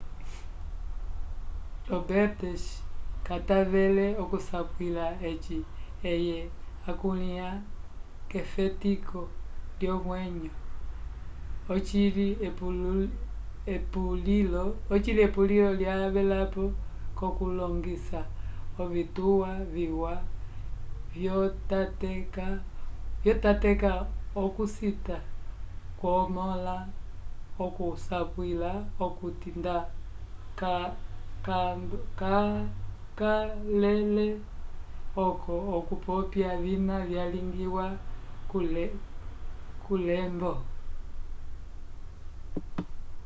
roberts katavele okusapwila eci eye akulĩha efetiko lyomwenyo ocili epulilo lyavelapo k'okulongisa ovituwa viwa vyotateka okucita kwomõla okusapwila okuti nda kacakalele oco okupopya vina vyalingiwa kulembo